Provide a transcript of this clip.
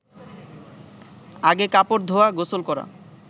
আগে কাপড় ধোয়া, গোসল করা